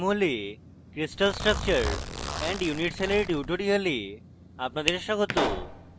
jmol এ crystal structure and unit cell এর tutorial আপনাদের স্বাগত